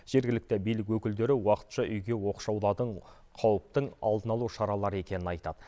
жергілікті билік өкілдері уақытша үйге оқшаулату қауіптің алдын алу шаралары екенін айтады